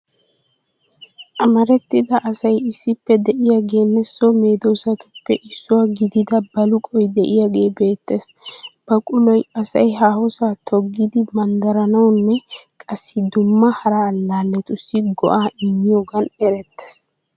Amarettida asay issippe de'iyageenne so medoosatuppe issuwa gidida baluqoy de'iyage beettes. Baquloy asay haahosa toggidi manddaranawunne qassi dumma hara allaalletussi go'aa immiyogan erettees